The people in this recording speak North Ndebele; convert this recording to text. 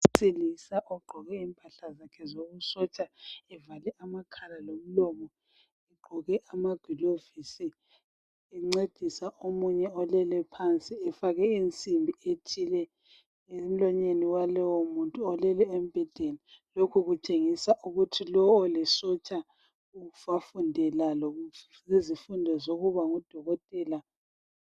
Umuntu wesilisa, ogqoke impahla zakhe zobusotsha. Evale amakhala lomlomo. Egqoke amagilovisi. Encedisa omunye olele phansi. Efake insimbi ethile emlonyeni walowo muntu olele embhedeni. Lokhu kutshengisa ukuthi lo, olisotsha, wafundela lezifundo zokuba ngudokotela.